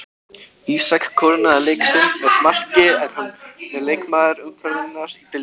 Ísak kórónaði leik sinn með marki en hann er leikmaður umferðarinnar í deildinni.